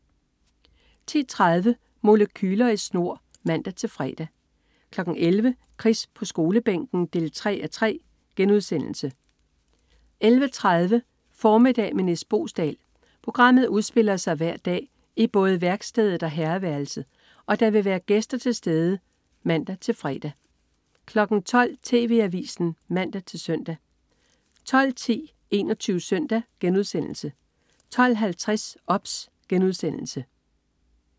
10.30 Molekyler i snor (man-fre) 11.00 Chris på Skolebænken 3:3* 11.30 Formiddag med Nis Boesdal. Programmet udspiller sig hver dag i både værkstedet og herreværelset, og der vil være gæster begge steder (man-fre) 12.00 TV Avisen (man-søn) 12.10 21 Søndag* 12.50 OBS*